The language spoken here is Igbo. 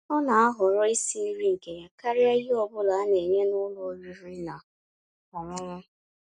Ọ́ ná-àhọ̀rọ́ ísi nrí nkè yá kàríà íhè ọ́ bụ́là á ná-ènyé n'ụ́lọ̀ ọ̀rị́rị́ ná ọ̀ṅụ̀ṅụ̀